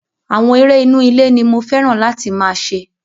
Àwọn eré inú ilé ní mo fẹ́ràn láti máa ṣe.